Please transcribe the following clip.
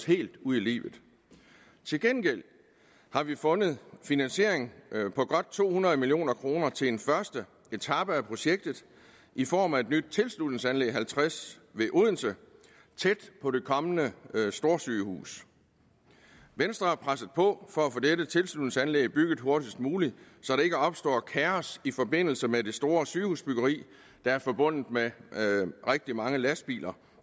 helt ud i livet til gengæld har vi fundet finansiering på godt to hundrede million kroner til en første etape af projektet i form af et nyt tilslutningsanlæg tilslutningsanlæg halvtreds ved odense tæt på det kommende storsygehus venstre har presset på for at få dette tilslutningsanlæg bygget hurtigst muligt så der ikke opstår kaos i forbindelse med byggeriet af det store sygehus der er forbundet med rigtig mange lastbiler